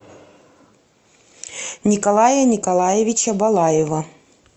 николая николаевича балаева